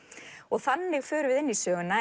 þannig förum við inn söguna